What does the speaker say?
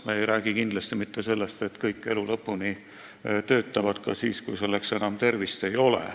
Me ei räägi kindlasti mitte sellest, et kõik elu lõpuni töötavad, et inimesed töötavad ka siis, kui selleks tervist enam ei ole.